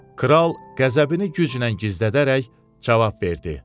Kral qəzəbini güclə gizlədərək cavab verdi.